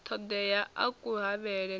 ṱoḓeaho a ku havhele na